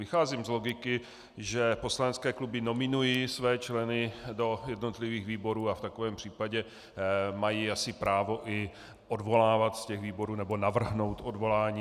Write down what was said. Vycházím z logiky, že poslanecké kluby nominují své členy do jednotlivých výborů a v takovém případě mají asi právo i odvolávat z těch výborů nebo navrhnout odvolání.